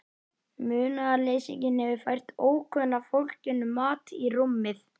Munaðarleysinginn hefur fært ókunna fólkinu mat í rúmið.